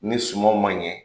Ni sumaw ma ɲɛ,